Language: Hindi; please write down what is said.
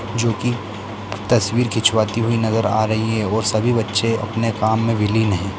जो कि तस्वीर खिंचवाती हुई नजर आ रही है और सभी बच्चे अपने काम में विलीन है।